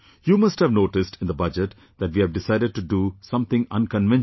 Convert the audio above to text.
You must have noticed in the Budget that we have decided to do something unconventional